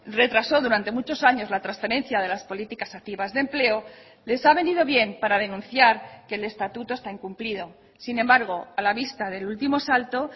retrasó durante muchos años la transferencia de las políticas activas de empleo les ha venido bien para denunciar que el estatuto está incumplido sin embargo a la vista del último salto